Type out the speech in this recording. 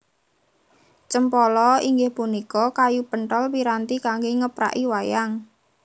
Cempala inggih punika kayu penthol piranti kanggé ngepraki wayang